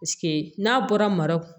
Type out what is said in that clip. n'a bɔra mara